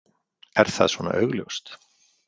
Er það svona augljóst?